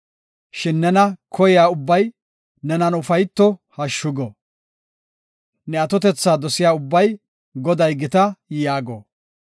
Shin nena koyiya ubbay, nenan ufayto; hashshu go. Ne atotetha dosiya ubbay, “Goday gita” yaago.